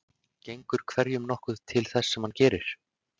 Gengur hverjum nokkuð til þess sem hann gerir.